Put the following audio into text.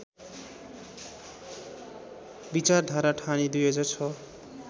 विचारधारा ठानी २००६